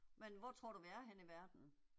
Men hvor tror du vi er henne i verden?